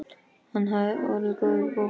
Hann hefði orðið góður bóhem.